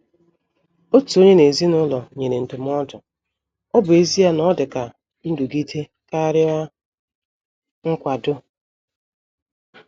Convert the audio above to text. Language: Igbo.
Otu onye n' ezinụlọ nyere ndụmọdụ,ọ bụ ezie na o dị ka nrụgide karịa nkwado.